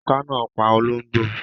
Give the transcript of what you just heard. Oká náà pa ológbò